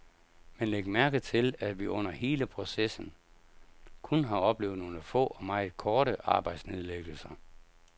Men læg mærke til, at vi under hele processen kun har oplevet nogle få og meget korte arbejdsnedlæggelser.